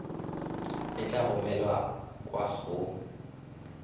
e tla romelwa kwa go